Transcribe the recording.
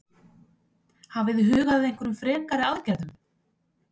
Hafið þið hugað að einhverjum frekari aðgerðum?